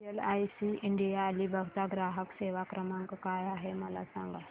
LIC India Alibag चा ग्राहक सेवा क्रमांक काय आहे मला सांगा